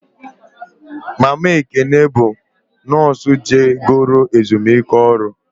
Mama Ekene bụ nọọsụ je goro ezumike ọrụ